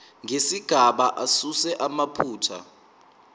nezigaba asuse amaphutha